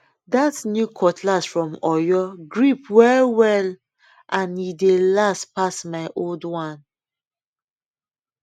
that new cutlass from oyo grip well well and e e dey last pass my old one